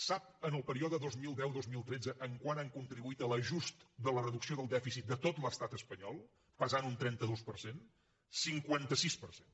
sap en el període dos mil deu dos mil tretze en quant han contribuït a l’ajust de la reducció del dèficit de tot l’estat espanyol pesant un trenta dos per cent en el cinquanta sis per cent